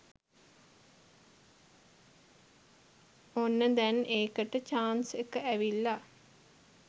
ඔන්න දැං ඒකට චාන්ස් එක ඇවිල්ල.